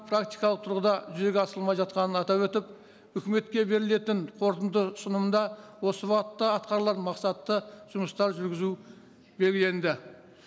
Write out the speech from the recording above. практикалық тұрғыда жүзеге асырылмай жатқанын атап өтіп үкіметке берілетін қорытынды ұсынымда осы бағытта атқарылған мақсатта жұмыстар жүргізу белгіленді